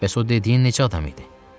Bəs o dediyin neçə adam idi?